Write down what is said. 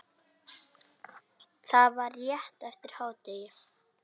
Það var rétt eftir hádegi.